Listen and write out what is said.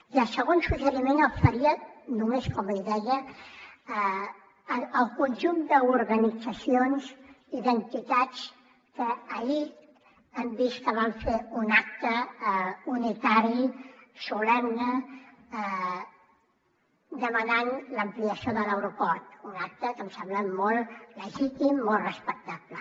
i el segon suggeriment el faria només com a idea al conjunt d’organitzacions i d’entitats que ahir hem vist que van fer un acte unitari solemne demanant l’ampliació de l’aeroport un acte que em sembla molt legítim molt respectable